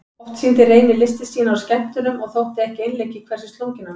Oft sýndi Reynir listir sínar á skemmtunum og þótti ekki einleikið hversu slunginn hann var.